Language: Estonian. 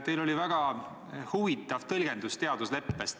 Teil oli väga huvitav teadusleppe tõlgendus.